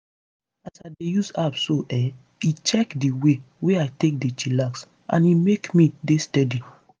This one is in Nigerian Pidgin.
as i dey use app so[um]e check di way wey i take dey chillax and e make me dey steady.